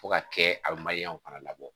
Fo ka kɛ a bɛ fana labɔ